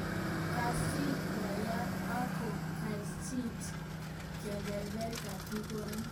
Kaseiit boyot ak ko gaji keberber netigoni